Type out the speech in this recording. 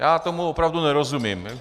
Já tomu opravdu nerozumím.